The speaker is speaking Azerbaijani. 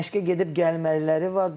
Məşqə gedib gəlməliləri var.